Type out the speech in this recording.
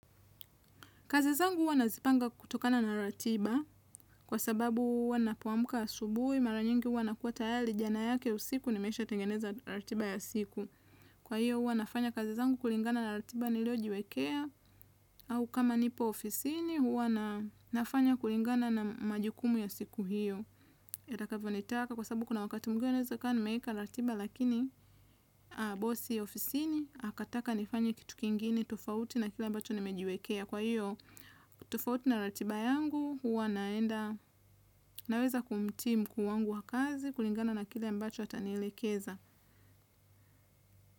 Kazi zangu huwa nazipanga kutokana na ratiba, kwa sababu huwa napoamka asubuhi, mara nyingi huwa nakuwa tayari jana yake usiku, nimesha tengeneza ratiba ya siku. Kwa hio huwa nafanya kazizangu kulingana na ratiba niliojiwekea au kama nipo ofisini huwa nafanya kulingana na majukumu ya siku hio. Yatakavyo nitaka kwa sababu kuna wakati mwingine naweza kuwa nimeiweka ratiba lakini, bosi ofisini akataka nifanye kitu kingine tofauti na kile ambacho nimejiwekea kwa hio tofauti na ratiba yangu huwa naenda naweza kumtii mkuu wangu wa kazi kulingana na kile mbacho atanielekeza.